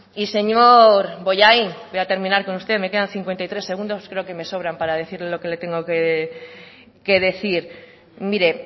y señor bollain voy a terminar con usted me quedan cincuenta y tres segundos creo que me sobran para decirle lo que le tengo que decir mire